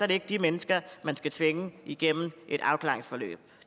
det ikke de mennesker man skal tvinge igennem et